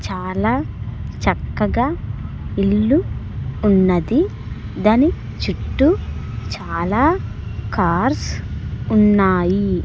చాలా చక్కగా ఇల్లు ఉన్నది దాని చుట్టూ చాలా కార్స్ ఉన్నాయి.